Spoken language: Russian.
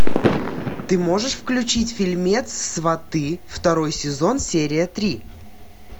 ты можешь включить фильмец сваты второй сезон серия три